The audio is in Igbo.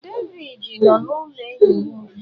Devidi nọ n’ụlọ enyi ya ugbu a.